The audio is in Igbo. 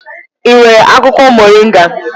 I nwere akwụkwọ moringa?